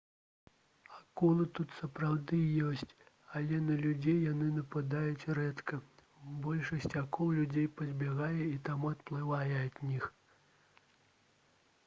акулы тут сапраўды ёсць але на людзей яны нападаюць рэдка большасць акул людзей пазбягае і таму адплывае ад іх